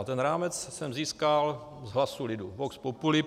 A ten rámec jsem získal z hlasu lidu, vox populi.